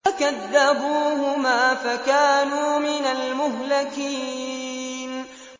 فَكَذَّبُوهُمَا فَكَانُوا مِنَ الْمُهْلَكِينَ